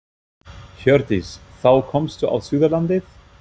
Hjördís: Þá komstu á Suðurlandið?